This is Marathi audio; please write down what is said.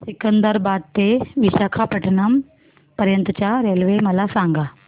सिकंदराबाद ते विशाखापट्टणम पर्यंत च्या रेल्वे मला सांगा